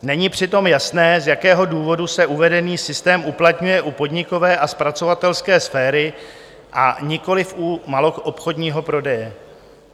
Není přitom jasné, z jakého důvodu se uvedený systém uplatňuje u podnikové a zpracovatelské sféry, a nikoliv u maloobchodního prodeje.